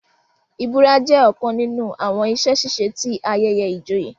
ìbura jẹ ọkàn nínú àwọn iṣẹ-ṣiṣe tí ayẹyẹ ìjòyè